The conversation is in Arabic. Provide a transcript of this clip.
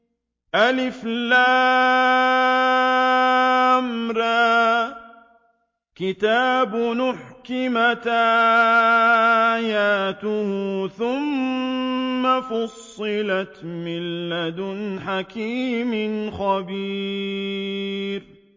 الر ۚ كِتَابٌ أُحْكِمَتْ آيَاتُهُ ثُمَّ فُصِّلَتْ مِن لَّدُنْ حَكِيمٍ خَبِيرٍ